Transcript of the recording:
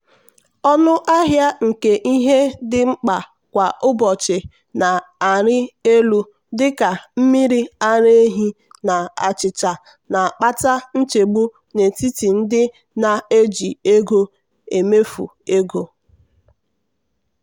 ọnụ ahịa nke ihe dị mkpa kwa ụbọchị na-arịelu dị ka mmiri ara ehi na achịcha na-akpata nchegbu n'etiti ndị na-eji ego emefu ego.